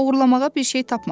Oğurlamağa bir şey tapmadılar.